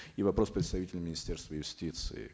и вопрос представителю министерства юстиции